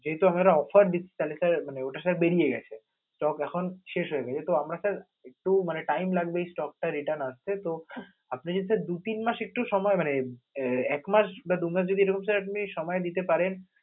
যেহেতু আমরা offer দিচ্ছি sir তাহলে sir আহ ওটার sir বেরিয়ে গেছে, stock এখন শেষ হয়ে গেছে, তো আমরা sir একটু মানে time লাগবে, এই stock টা return আসতে তো, আপনি যদি sir দু-তিন মাস একটুও সময় মানে এর এক মাস বা দু মাস যদি এ sir সময় দিতে পারেন